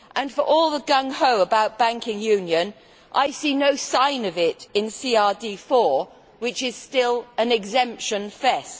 For all the gung ho about banking union, I see no sign of it in CRD IV, which is still an exemption fest.